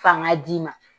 Fanga d'i ma